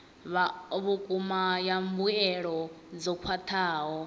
vhukuma ya mbuelo dzo khwathaho